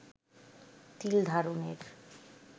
তিল ধারণের